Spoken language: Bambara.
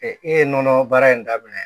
E ye nɔnɔ baara in daminɛ